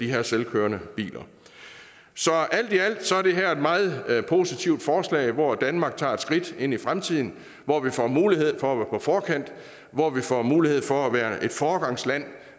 de her selvkørende biler så alt i alt er det her et meget positivt forslag hvor danmark tager et skridt ind i fremtiden hvor vi får mulighed for at være på forkant hvor vi får mulighed for at være et foregangsland